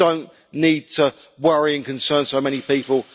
We do not need to worry and concern so many people.